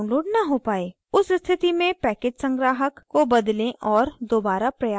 उस स्थिति में package संग्राहक repository को बदलें और दोबारा प्रयास करें